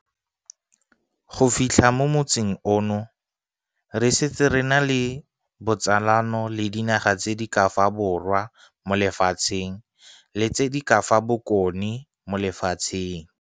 Go fitlha mo motsing ono, re setse re na le botsalano le dinaga tse di ka fa Borwa mo Lefatsheng le tse di ka fa Bokone mo Lefatsheng.